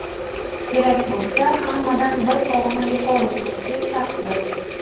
kerak bo‘lsa hammadan bir pog‘ona yuqori turuvchi shaxsdir.